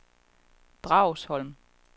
Dragsholm